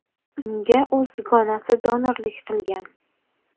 Unga o‘z dugonasi donorlik qilgan.